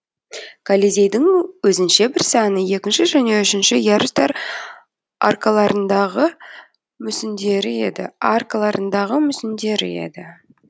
колизейдің өзінше бір сәні екінші және үшінші ярустар аркаларындағы мүсіндері еді аркаларындағы мүсіндері еді